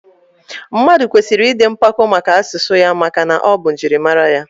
Mmadụ kwesịrị ịdị mpako maka asụsụ ya maka na ọ bụ njirimara ya